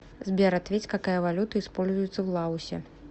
сбер ответь какая валюта используется в лаосе